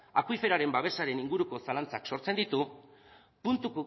akuiferoaren babesaren inguruko zalantzak sortzen ditu puntu